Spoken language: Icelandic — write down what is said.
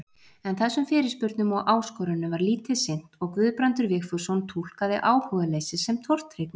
En þessum fyrirspurnum og áskorunum var lítið sinnt og Guðbrandur Vigfússon túlkaði áhugaleysið sem tortryggni: